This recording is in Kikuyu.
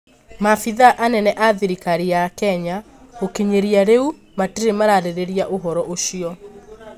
Maabĩthaa anene a thirikari ya Kenya gũkinyĩria rĩu matire mararĩrĩria ũhoro ũcio